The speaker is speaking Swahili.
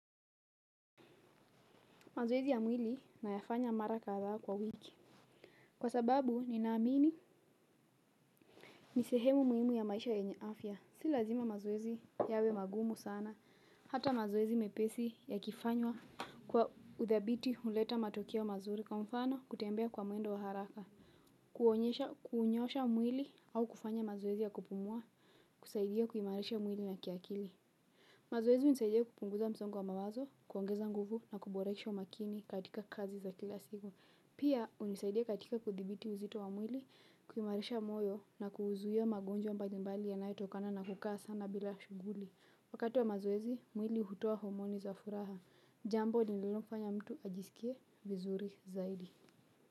Mazoezi ya mwili nayafanya mara kadhaa kwa wiki. Kwa sababu ninaamini. Ni sehemu muhimu ya maisha yenye afya. Si lazima mazoezi yawe magumu sana. Hata mazoezi mepesi yakifanywa kwa uthabiti huleta matokea wa mazuri kwa mfano, kutembea kwa mwendo wa haraka. Kuonyesha, kuunyosha mwili au kufanya mazoezi ya kupumua, kusaidia kuimarisha mwili na kiakili. Mazoezi hunisaidia kupunguza msongo wa mawazo, kuongeza nguvu na kuboresha umakini katika kazi za kila siku. Pia, hunisaidia katika kuthibiti uzito wa mwili, kuimarisha moyo na kuzuia magonjwa mbalimbali yanayotokana na kukaa sana bila shughuli. Wakati wa mazoezi, mwili hutoa homoni za furaha. Jambo linalofanya mtu ajisikie vizuri zaidi.